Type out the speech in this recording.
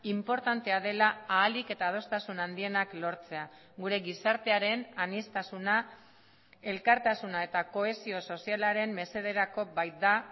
inportantea dela ahalik eta adostasun handienak lortzea gure gizartearen aniztasuna elkartasuna eta kohesio sozialaren mesederako baita